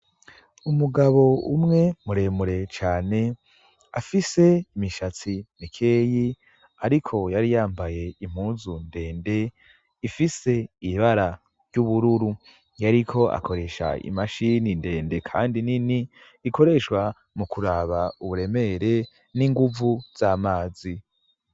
Umugabo umwe muremure cane afise imishatsi mikeyi, ariko yari yambaye impuzu ndende ifise ibibara ry'ubururu yariko akoresha imashini ndende, kandi nini ikoreshwa mu kuraba uburemere n'inguvu za mazi.